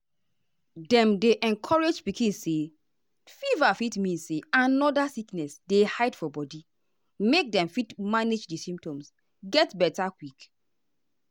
dem dey encourage pikin say fever fit mean say another sickness dey hide for body make dem fit manage di symptoms get beta quick.